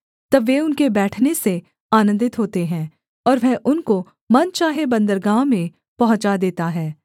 तब वे उनके बैठने से आनन्दित होते हैं और वह उनको मन चाहे बन्दरगाह में पहुँचा देता है